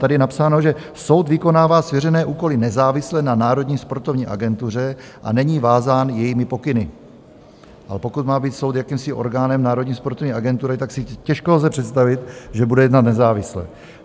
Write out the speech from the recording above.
Tady je napsáno, že soud vykonává svěřené úkoly nezávisle na Národní sportovní agentuře a není vázán jejími pokyny, ale pokud má být soud jakýmsi orgánem Národní sportovní agentury, tak si těžko lze představit, že bude jednat nezávisle.